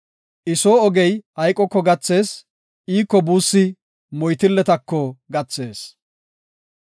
I soo ogey hayqoko gathees; iiko buussi moytilletako gathees.